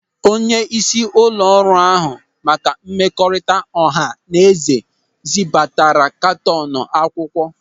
Onyeisi ụlọ ọrụ na-ahụ maka mmekọrịta ọha na eze zibatara katọnu akwụkwọ.